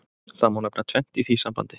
Það má nefna tvennt í því sambandi.